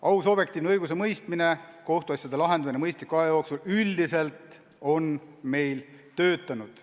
Aus ja objektiivne õigusemõistmine, kohtuasjade lahendamine mõistliku aja jooksul üldiselt on meil töötanud.